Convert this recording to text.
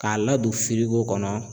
K'a ladon firigo kɔnɔ